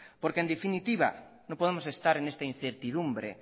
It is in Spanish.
porque en definitiva no podemos estar en esta incertidumbre